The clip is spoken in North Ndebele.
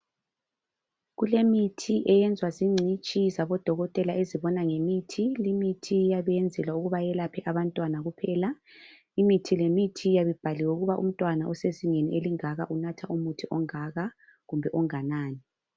Kulemithi eyenzwa zingcitshi zabodokotela ezibona ngemithi. Limithi iyabiyenzelwa ukuba iyelaphe abantwana kuphela. Imithi lemithi iyabe ibhaliwe ukuba umntwana osezingeni elingaka unatha umuthi ongaka kumbe onganani.